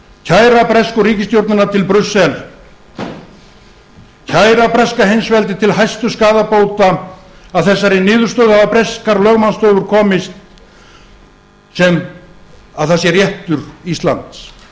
kæra bresku ríkisstjórnina til brussel kæra breska heimsveldið til hæstu skaðabóta að þessari niðurstöðu hafa breskar lögmannsstofur komist að sem sé réttur íslands